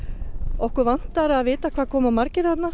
okkur vantar að vita hvað koma margir þarna